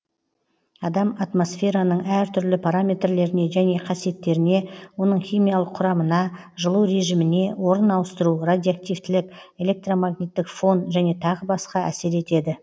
адам атмосфераның әр түрлі параметрлеріне және қасиеттеріне оның химиялық құрамына жылу режиміне орын ауыстыру радиоактивтілік электромагниттік фон және тағы басқа әсер етеді